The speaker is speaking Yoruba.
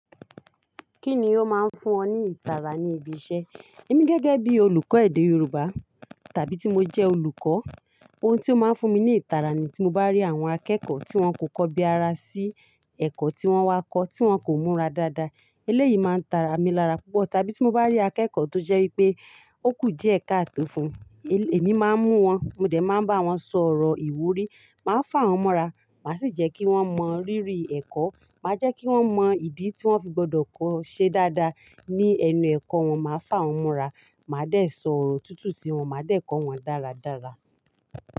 Kíni ó máa ń fún ọ ní ìtara ní ibi iṣẹ́? Èmi gẹ́gẹ́ bí olùkọ́ èdè Yorùbá tàbí tí mo jẹ olùkọ́, ohun tí ó máa ń fún mi ní ìtara ni tí mo bá rí àwọn akẹ́kọ̀ọ́ tí wọ́n kò kọ́ bí ara sí ẹ̀kọ́ tí wọ́n wá kọ́, tí wọ́n kò múra dáadáa. Eléyìí máa ń tara mi lára púpọ̀. Tàbí ti mo ba ri akeeko to je wípé, o ku díẹ̀ kaato fún emi maa n mu won, mo de maa n ba won sọ̀rọ̀ ìwúrí, maa fa won mora, maa si je ki won mo riri eko, ma je ki won mo idi ti won fi gbodo ko se daada. Ní ẹnu ẹ̀kọ́ wọn, màá fá wọ́n mora, màá dẹ̀ sọ̀rọ̀ tútù sí wọn, màá dẹ̀ kọ́ wọn dáradára.